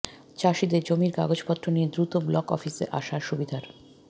চাষিদের জমির কাগজপত্র নিয়ে দ্রুত ব্লক অফিসে আসার সুবিধার